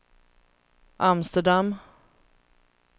Amsterdam